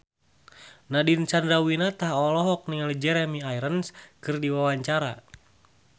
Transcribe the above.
Nadine Chandrawinata olohok ningali Jeremy Irons keur diwawancara